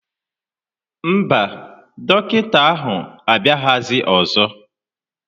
Mba, dọkịta ahụ abịaghịzi ọzọ